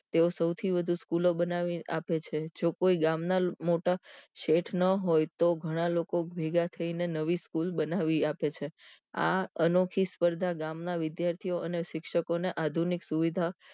તેઓ સૌથી વધુ સ્કૂલ બનાવી આપે છે જો કોઈ ગામ ના મોટા શેઠ ન હોય તો ગણા લોકો ભેગા થઈને નવી સ્કૂલ બનાવી આપે છે આ અનોખી સ્પર્ધા ગામ ના વિદ્યાર્થી અને શિક્ષકો આધુનિક સુવિધા